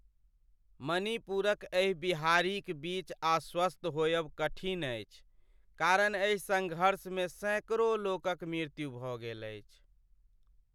मणिपुरक एहि बिहारिक बीच आश्वस्त होयब कठिन अछि, कारण एहि सङ्घर्षमे सैकड़ो लोकक मृत्यु भऽ गेल अछि।